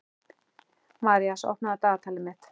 Marísa, opnaðu dagatalið mitt.